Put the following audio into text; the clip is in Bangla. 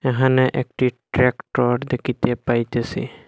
এখানে একটি ট্রেক্টর দেখিতে পাইতেসি।